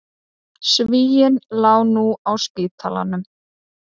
Svíinn lá nú á spítalanum.